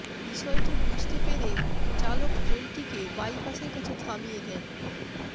বিষয়টি বুঝতে পরে চালক ট্রেনটিকে বাইপাসের কাছে থামিয়ে দেন